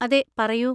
അതെ, പറയൂ.